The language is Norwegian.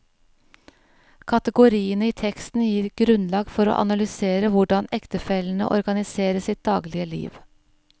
Kategoriene i teksten gir grunnlag for å analysere hvordan ektefellene organiserer sitt daglig liv.